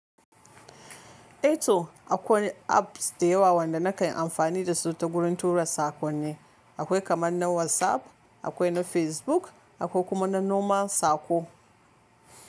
Eh to akwai apps da yawa wanda na kanyi amfani dasu ta wurin tura saƙonni. Akwai kamar na WhatsApp, akwai na Facebook, akwai kuma na Normal saƙo.